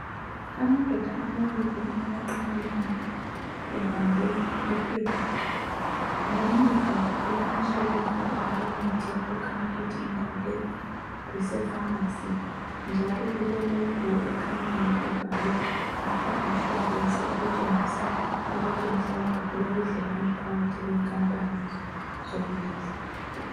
Amadoda amabili ayaqhawulana ebambe iphepha. Ngemuva kulamashelufu alemithi okukhanya ukuthi indawo le kusefamasi njalo kule- logo ekhanyayo ebhalwe Upper insurance, okutshengisa ukuthi mhlawumbe kulobudlelwano phakathi kwenkampani zombili.